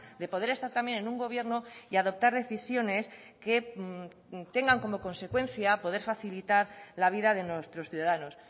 de poder estar también en un gobierno y adoptar decisiones que tengan como consecuencia poder facilitar la vida de nuestros ciudadanos